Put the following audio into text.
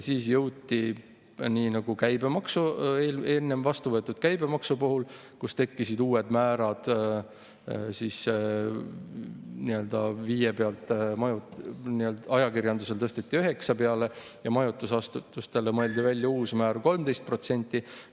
Siis jõuti sinna, nii nagu enne vastu võetud käibemaksu puhul, kus tekkisid uued määrad: ajakirjandusel tõsteti 5% pealt 9% peale ja majutusasutustele mõeldi välja uus määr 13%.